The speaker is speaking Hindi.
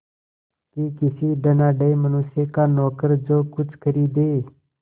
कि किसी धनाढ़य मनुष्य का नौकर जो कुछ खरीदे